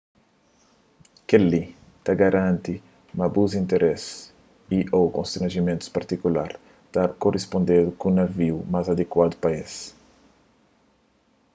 kel-li ta bai garanti ma bu interesis y/ô konstranjimentus partikular ta korispondedu ku naviu más adikuadu pa es